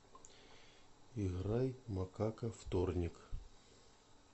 играй макака вторник